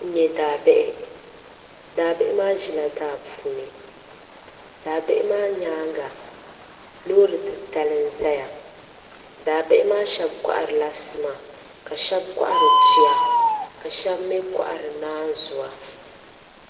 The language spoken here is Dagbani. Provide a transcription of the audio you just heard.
N nyɛ daabihi daabihi maa ʒila daa puuni daa bihi maa nyaanga loori titali n ʒɛya daa bihi maa shab koharila sima ka shab kohari tuya ka shab mii kohari naanzuwa